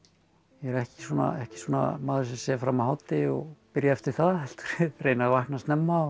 ég er ekki svona ekki svona maður sem sef fram að hádegi og byrja eftir það heldur reyni að vakna snemma